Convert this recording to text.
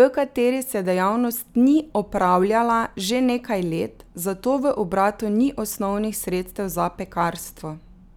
v kateri se dejavnost ni opravljala že nekaj let, zato v obratu ni osnovnih sredstev za pekarstvo.